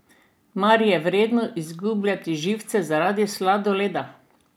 Mar je vredno izgubljati živce zaradi sladoleda?